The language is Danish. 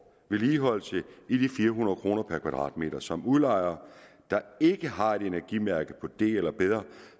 vedligeholdelse i de fire hundrede kroner per kvadratmeter som udlejer der ikke har et energimærke på d eller bedre